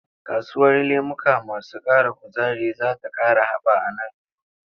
Kasuwar lemuka masu ƙara kuzari za ta ƙara haɓa a nan gaba.